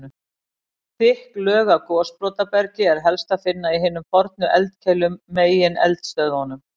Þykk lög af gosbrotabergi er helst að finna í hinum fornu eldkeilum, megineldstöðvunum.